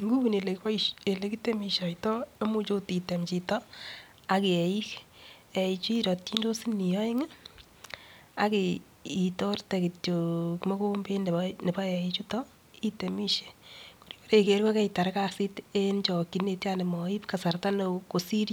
Iguni ele kitemishoitoi imuch akot item chito ak eik. Eichu iratchindosi oeng ak itorte kitio mogombet nebo eichutok itemishe yeboiger ko kaitar kasit eng chokchinet. Komoib kasarta nekoi kosir .